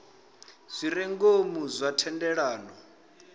zwi re ngomu zwa thendelano